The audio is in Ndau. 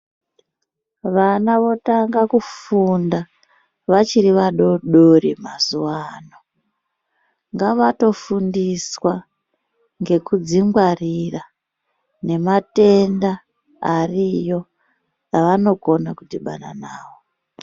Vana votanga kufunda vachiri vadodori mazuwano ngavatofundiswa ngekudzingwarira nematenda ariyo avanogona kudhibana nawo.